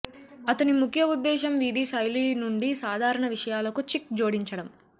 అతని ముఖ్య ఉద్దేశ్యం వీధి శైలి నుండి సాధారణ విషయాలకు చిక్ జోడించడం